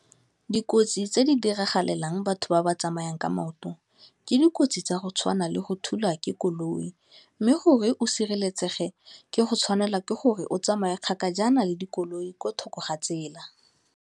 Dikotsi tse di diragalelang batho ba ba tsamayang ka maoto, ke dikotsi tsa go tshwana le go thulwa ke koloi, mme gore o sireletsege, ke go tshwanela ke gore o tsamaele kgakajana le dikoloi ko thoko ga tsela.